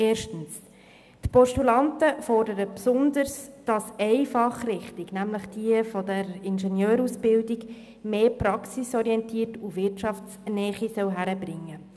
Erstens heben die Postulanten hervor, dass eine einzelne Fachrichtung, die Ingenieurwissenschaften, stärker praxisorientiert und wirtschaftsnäher sein soll.